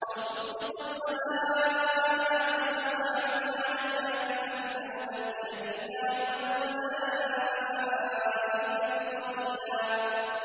أَوْ تُسْقِطَ السَّمَاءَ كَمَا زَعَمْتَ عَلَيْنَا كِسَفًا أَوْ تَأْتِيَ بِاللَّهِ وَالْمَلَائِكَةِ قَبِيلًا